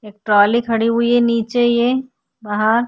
एक ट्राली खड़ी हुइ है नीचे ही है बाहर।